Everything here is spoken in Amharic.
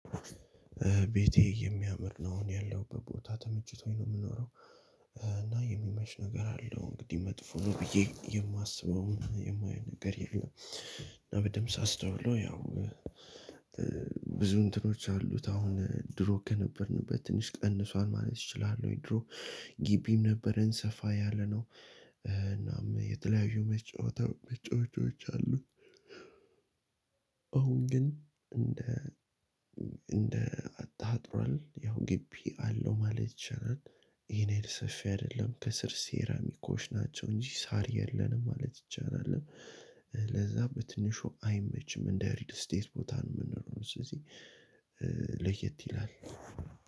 ቤቴ የሚያምር ነው አሁን ያለውበት ቦታ ተምችቶኝ ነው የምኖረው። እና የሚመች ነገር አለው። እንግዲህ መጥፎ ነው ብዬ የማስበው የማየው ነገር የለም። እና በደምብ ሳስታውሎ ያው ብዙ እንትኖች አሉት። አሁን ድሮ ከነበርንበት ትንሽ ቀንሷል ማለት ይችላሉ። ድሮ- ግቢም ነበረን ሰፋ ያለነው እናም የተለያዩ መጫወቻዎች አሉት። አሁን ግን እንደ እንደ አታጥሯል ያው ግቢ አለው ማለት ይቻላል። ይሄን ያህል ሰፊ አይደለም። ከስር ሴራሚኮች ናቸው እንጂ ሳር የለንም ማለት ይቻላል። ለዛ በትንሹ አይመችም። እንደ ሪል ስቴት ቦታ ነው የምንኖረው ስለዚህ ለየት ይላል።